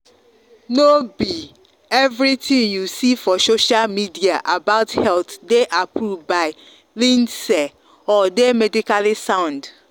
no be everything you see for social media about health dey approved by lindsey or dey medically sound.